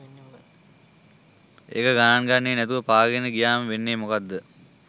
එක ගණන ගන්නේ නැතිව පාගාගෙන ගියාම වෙන්නේ මොකක්ද?